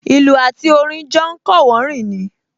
Ìlù àti orin jọ ń kọ́wọ̀ọ́rìn ni